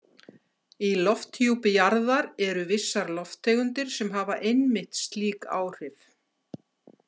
Í lofthjúpi jarðar eru vissar lofttegundir sem hafa einmitt slík áhrif.